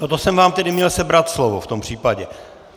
No to jsem vám tedy měl sebrat slovo, v tom případě!